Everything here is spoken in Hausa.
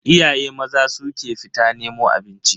Iyaye maza su ke fita nemo abinci.